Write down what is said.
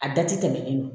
A da ti tɛmɛ i bolo